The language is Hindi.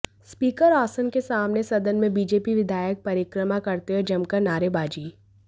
स्पीकर आसन के सामने सदन में बीजेपी विधायक परिक्रमा करते हुए जमकर नारेबाजी